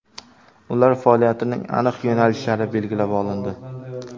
Ular faoliyatining aniq yo‘nalishlari belgilab olindi.